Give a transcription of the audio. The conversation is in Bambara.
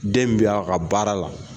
Den bɛ a ka baara la